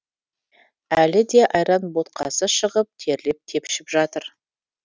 әлі де айран ботқасы шығып терлеп тепшіп жатыр